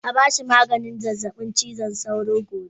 A ba shi maganin zazzabin cizon sauro gobe.